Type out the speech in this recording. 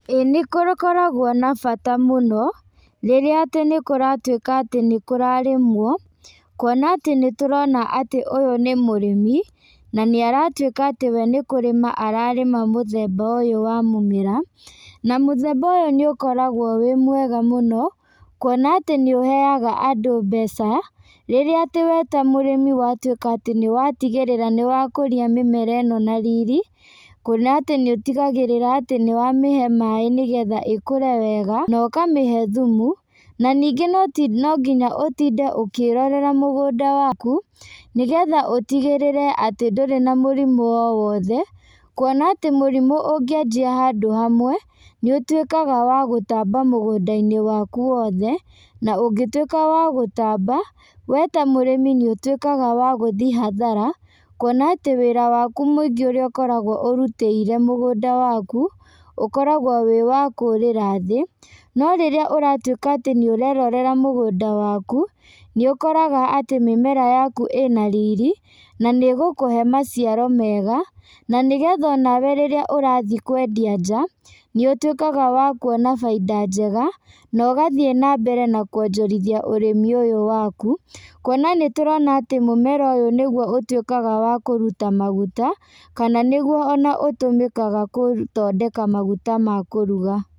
Ĩĩ nĩgũkoragwo na bata mũno, rĩrĩa atĩ nĩkũratuĩka atĩ nĩkũrarĩmwo, kuona atĩ nĩtũrona atĩ ũyũ nĩ mũrĩmi, na nĩaratuĩka atĩ we nĩkũrĩma ararĩma mũthemba ũyũ wa mũmera, na mũthemba ũyũ nĩũkoragwo wĩ mwega mũno, kuona atĩ nĩũheaga andũ mbeca, rĩrĩa atĩ we ta mũrĩmi watuĩka atĩ nĩwatigĩrĩra nĩwakũrĩa mĩmera ĩno na riri, kuona atĩ nĩũtigagĩrĩra atĩ nĩwamĩhe maĩ nĩgetha ĩkũre wega, na ũkamĩhe thumu, na ningĩ no nonginya ũtinde ũkĩrorera mũgũnda waku, nĩgetha ũtigĩrĩre atĩ ndũrĩ na mũrimũ o wothe, kuona atĩ mũrimũ ũngĩanjia handũ hamwe, nĩũtuĩkaga wa gũtamba mũgũndainĩ waku wothe, na ũngĩtuĩka wa gũtamba, we ta mũrĩmi nĩũtuĩkaga wa gũthiĩ hathara, kuona atĩ wĩra waku mũingĩ ũrĩa ũkoragwo ũrutĩire mũgũnda waku, ũkoragwo wĩ wa kũrĩra thĩ, no rĩrĩa ũratuĩka atĩ nĩũrerorera mũgũnda waku, nĩũkoraga atĩ mĩmera yaku ĩna riri, na nĩgũkũhe maciaro mega, na nĩgetha onawe rĩrĩa ũrathiĩ kwendia nja, nĩũtuĩkaga wa kuona bainda njega, na ũgathiĩ nambere na kuonjorithia ũrĩmi ũyũ waku, kuona nĩtũrona atĩ mũmera ũyũ nĩguo ũtuĩkaga wa kũruta maguta, kana nĩguo ona ũtũmĩkaga kũthondeka maguta ma kũruga.